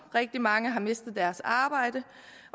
rigtig mange har mistet deres arbejde